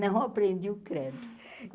Não aprendi o credo. e